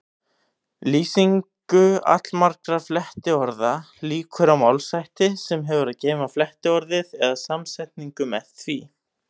Lýsingu allmargra flettiorða lýkur á málshætti sem hefur að geyma flettiorðið eða samsetningu með því.